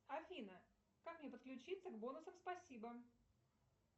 афина как мне подключиться к бонусам спасибо